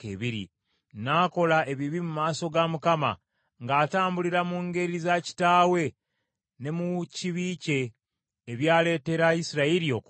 N’akola ebibi mu maaso ga Mukama , ng’atambulira mu ngeri za kitaawe ne mu kibi kye, ebyaleetera Isirayiri okwonoona.